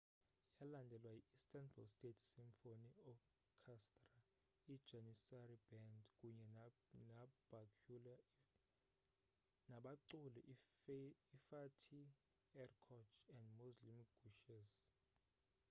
yalandelwa yi istanbul state symphony orchestra ijanissary band kunye nabaculi ifatih erkoç and müslüm gürses